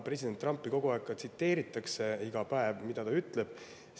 President Trumpi kogu aeg tsiteeritakse, iga päev, et mida ta ütleb.